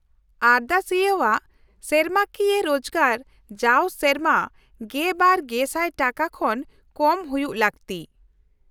-ᱟᱨᱫᱟᱥᱤᱭᱟᱹᱣᱟᱜ ᱥᱮᱨᱢᱟᱠᱤᱭᱟᱹ ᱨᱳᱡᱜᱟᱨ ᱡᱟᱣ ᱥᱮᱨᱢᱟ ᱑᱒,᱐᱐᱐ ᱴᱟᱠᱟ ᱠᱷᱚᱱ ᱠᱚᱢ ᱦᱩᱭᱩᱜ ᱞᱟᱹᱠᱛᱤ ᱾